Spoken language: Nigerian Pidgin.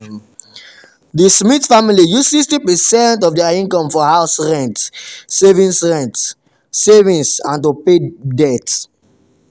the smith family use 60 percent of their income for house rent savings rent savings and to pay debt.